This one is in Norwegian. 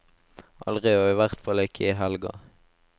Aldri, og i hvert fall ikke i helga.